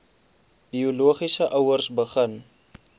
biologiese ouers begin